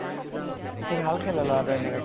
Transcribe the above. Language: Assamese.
সি ভাল খেলে লʼৰা টো